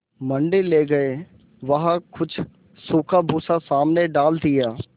मंडी ले गये वहाँ कुछ सूखा भूसा सामने डाल दिया